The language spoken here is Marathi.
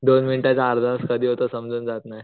२ मिनिटांचा अर्धा तास कधी होतो समजून जात नाही.